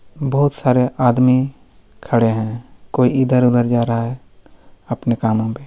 बहुत सारे आदमी खड़े है कोई इधर उधर जा रहा है अपने कामों पे--